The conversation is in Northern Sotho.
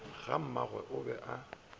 ga mmaneagwe o be a